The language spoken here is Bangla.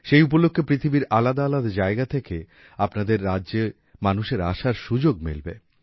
সেই উপলক্ষে পৃথিবীর আলাদা আলাদা জায়গা থেকে আপনাদের রাজ্যে মানুষের আসার সুযোগ মিলবে